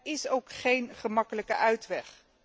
Er is ook geen gemakkelijke uitweg.